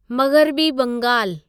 मग़रबी बंगालु